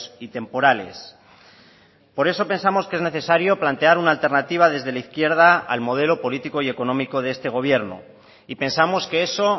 y temporales por eso pensamos que es necesario plantear una alternativa desde la izquierda al modelo político y económico de este gobierno y pensamos que eso